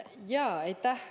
Aitäh!